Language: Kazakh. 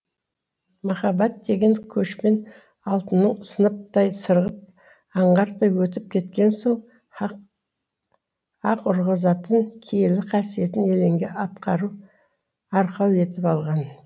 махаббат деген көшпен алтынның сынаптай сырғып аңғартпай өтіп кеткен соң аһ аһ ұрғызатын киелі қасиетін елеңге атқарып арқау етіп алған